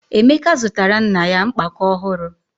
Emeka zụtara nna ya mkpakọ ọhụrụ.